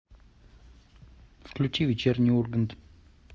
включи вечерний ургант